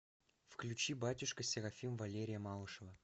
включи батюшка серафим валерия малышева